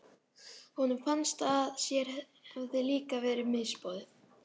Honum fannst að sér hefði líka verið misboðið.